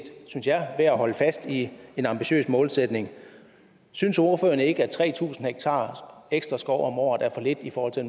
synes jeg værd at holde fast i en ambitiøs målsætning synes ordføreren ikke at tre tusind ha ekstra skov om året er for lidt i forhold til